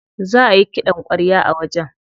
Za ayi ƙidan ƙwarya a wajen.